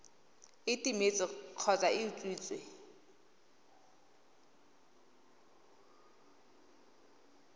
e timetse kgotsa e utswitswe